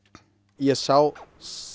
ég sá